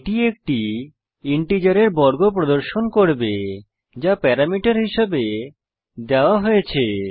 এটি একটি ইন্টিজারের বর্গ প্রদর্শন করবে যা প্যারামিটার হিসেবে দেওয়া হয়েছে